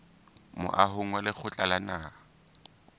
moahong wa lekgotla la naha